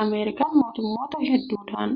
Ameerikaan mootummoota hedduudhaan